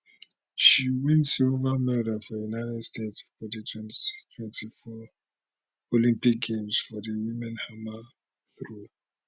she win silver medal for united states for di 2024 olympic games for di women hammer throw